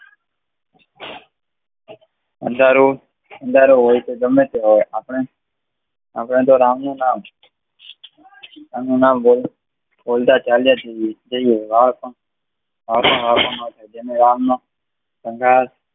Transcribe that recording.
અંધારું, અંધારું હોય કે ગમે તે હોય આપણે અંધારાનું નામ બોલતા ચાલ્યા જઈએ છે જેને વાવ નો